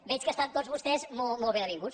veig que estan tots vostès molt ben avinguts